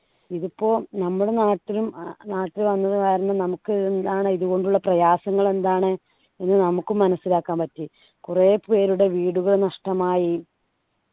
ഇതിപ്പോ നമ്മുടെ നാട്ടിലും അഹ് നാട്ടില് വന്നത് കാരണം നമുക്ക് എന്താണ് ഇതുകൊണ്ടുള്ള പ്രയാസങ്ങൾ എന്താണ് എന്ന് നമുക്കും മനസിലാക്കാൻ പറ്റി കുറെ പേരുടെ വീടുകൾ നഷ്ടമായി